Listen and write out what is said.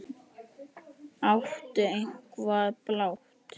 Áttu eitthvað blátt?